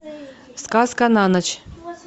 сказка на ночь